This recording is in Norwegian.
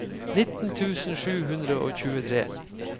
nitten tusen sju hundre og tjuetre